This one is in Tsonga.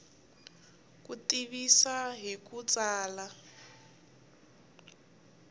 ku tivisa hi ku tsala